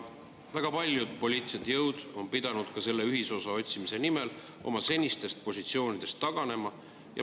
Väga paljud poliitilised jõud on pidanud selle ühisosa otsimise nimel oma senistest positsioonidest taganema.